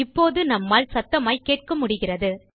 இப்போது நம்மால் சத்தமாய்க் கேட்க முடிகிறது